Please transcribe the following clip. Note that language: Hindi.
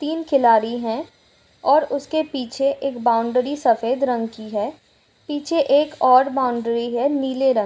तीन खिलाड़ी है ।और उसके पीछे एक बाउंड्री सफ़ेद रंग की है पीछे एक और बाउंड्री हैनीले रंग --